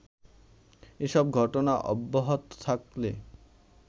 এসব ঘটনা অব্যাহত থাকলে